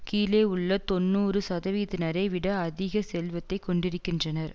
கீழே உள்ள தொன்னூறு சதவீதத்தினரை விட அதிக செல்வத்தை கொண்டிருக்கின்றனர்